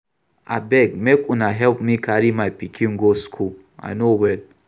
Abeg make una help me carry my pikin go school I no well